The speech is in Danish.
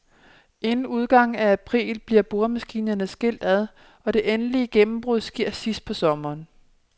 Inden udgangen af april bliver boremaskinerne skilt ad, og det endelige gennembrud sker sidst på sommeren.